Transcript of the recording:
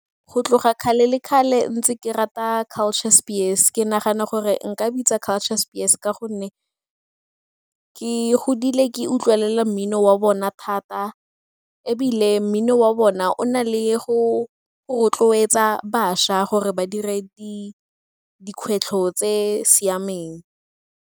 Go tloga kgale kgale ntse ke rata Culture Spears. Ke nagana gore nka bitsa Culture Spears ka gonne ke godile ke utlwelela mmino wa bona thata ebile mmino wa bona o na le go rotloetsa bašwa gore ba dire dikgwetlho tse di siameng.